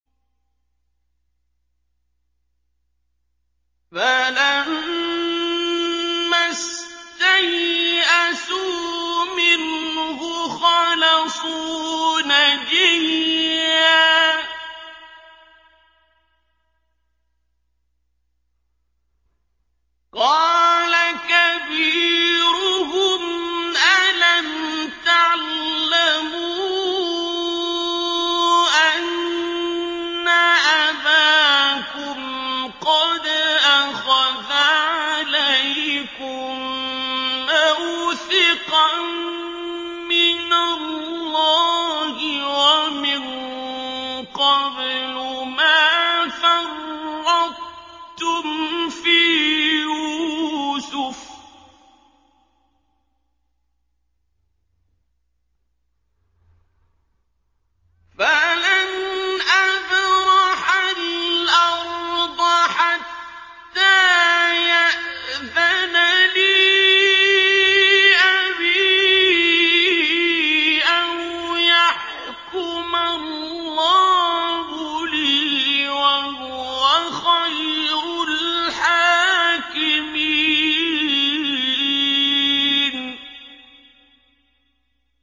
فَلَمَّا اسْتَيْأَسُوا مِنْهُ خَلَصُوا نَجِيًّا ۖ قَالَ كَبِيرُهُمْ أَلَمْ تَعْلَمُوا أَنَّ أَبَاكُمْ قَدْ أَخَذَ عَلَيْكُم مَّوْثِقًا مِّنَ اللَّهِ وَمِن قَبْلُ مَا فَرَّطتُمْ فِي يُوسُفَ ۖ فَلَنْ أَبْرَحَ الْأَرْضَ حَتَّىٰ يَأْذَنَ لِي أَبِي أَوْ يَحْكُمَ اللَّهُ لِي ۖ وَهُوَ خَيْرُ الْحَاكِمِينَ